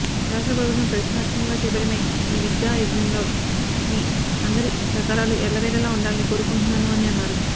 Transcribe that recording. రాష్ట్ర ప్రభుత్వం ప్రతిష్టాత్మకంగా చేపట్టిన ఈ విద్యా యజ్ఞంలో మీ అందరి సహకారాలు ఎల్లవేళలా ఉండాలని కోరుకుంటున్నాను అని అన్నారు